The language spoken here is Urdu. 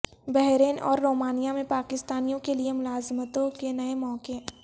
بحرین اور رومانیہ میں پاکستانیوں کیلئے ملازمتوں کے نئے مواقع